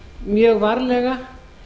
mjög varlega